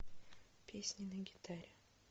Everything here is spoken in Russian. песни на гитаре